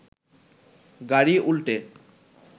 গাড়ি উল্টে